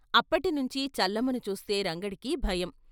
అప్పటి నుంచి చల్లమ్మని చూస్తే రంగడికి భయం.